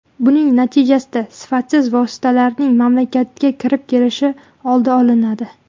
Buning natijasida sifatsiz vositalarning mamlakatga kirib kelishi oldi olinadi”.